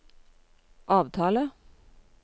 avtale